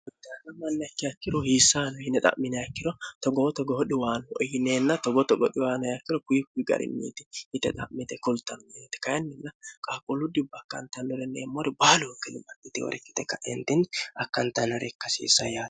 ana mannakki yakkiro hiissaano hine xa'mine akkiro togoho togohodhiwaan iyineenna togoo togodhiwaano yakkiro kuyikki ga'rinniiti yite xa'mite kultannneeti kayinninna qaaquuludhi bakkantannori neemmori baaluh kilomnti worikkite kaeentinni akkantanno riikkasiissa ya